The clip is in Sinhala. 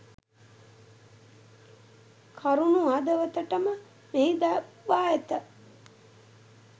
කරුණු හදවතටම මෙහි දක්වා ඇත.